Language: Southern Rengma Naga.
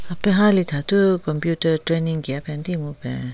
Hapen hali thathu computer training kiya penti mupen.